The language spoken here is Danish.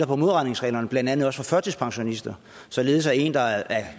på modregningsreglerne blandt andet også for førtidspensionister således at en der er